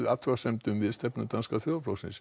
athugasemdum við stefnu Danska þjóðarflokksins